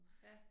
Ja